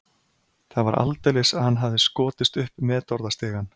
Það var aldeilis að hann hafði skotist upp metorðastigann.